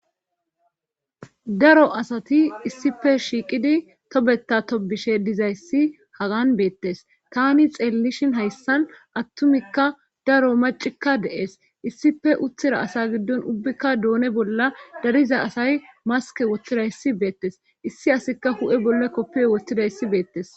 daro asati issife shiiqidi tobeta tobishe dizayssi hagan beettes tani xeellishin hayssan attumikka daro macikka de7es issife uthira asa giddon ubbikka doone bolla dariza asay maske woththira hissi beettes issi asika hu7e bolle koppiyo wottida issi beettes.